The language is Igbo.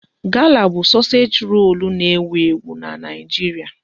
Gala bụ sosage rolu n'ewu ewu n'Naijiria